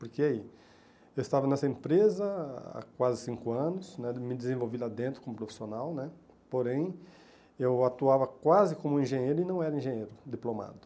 Porque eu estava nessa empresa há quase cinco anos né, me desenvolvi lá dentro como profissional né, porém eu atuava quase como engenheiro e não era engenheiro diplomado.